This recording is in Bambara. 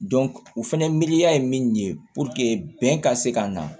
u fɛnɛ miiriya ye min ye bɛn ka se ka na